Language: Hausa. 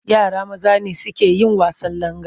Yara maza ne suke yin wasan langa.